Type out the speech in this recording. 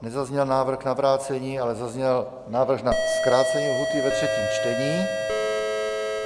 Nezazněl návrh na vrácení, ale zazněl návrh na zkrácení lhůty ve třetím čtení.